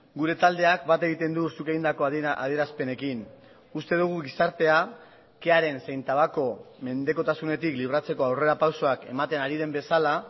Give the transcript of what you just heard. gure taldeak bat egiten du zuk egindako adierazpenekin uste dugu gizartea kearen zein tabako menpekotasunetik libratzeko aurrerapausoak ematen ari den bezala